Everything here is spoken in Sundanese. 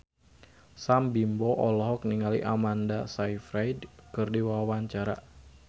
Sam Bimbo olohok ningali Amanda Sayfried keur diwawancara